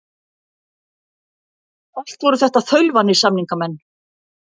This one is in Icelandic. Allt voru þetta þaulvanir samningamenn.